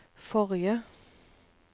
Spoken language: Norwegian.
forrige